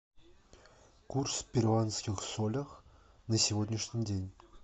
курс перуанских солях на сегодняшний день